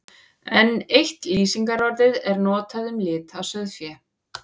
Enn eitt lýsingarorðið er notað um lit á sauðfé.